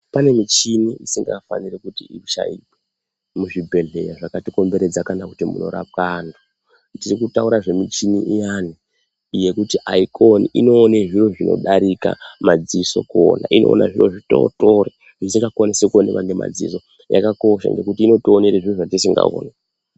Pane michini isingafaniri kuti ishaikwe muzvibhehlera zvakatikombrredza kana kuti munorapwe anthu. Tiri kutaura ngemichini iyana yekuti aikoni ,inowona zviro zvinodarika madziso kuona, inoona zviro zvitotori zvisingakoni kuonekwa ngemadziso yakakosha ngekuti inotiwonera zviro zvatisingakoni kuona